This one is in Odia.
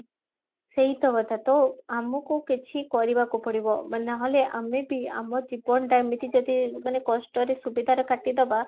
ସେଇ ତ କଥା ତ ଆମକୁ କିଛି କରିବାକୁ ପଡିବ ମାନେ ନହେଲେ ଆମେ ବି ଆମ ଜୀବନଟା ଏମିତି ଯଦି ମାନେ କଷ୍ଟରେ ସୁବିଧାରେ କାଟିଦବା